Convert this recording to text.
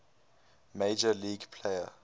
major league player